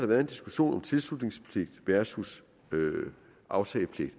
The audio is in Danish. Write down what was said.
været en diskussion om tilslutningspligt versus aftagepligt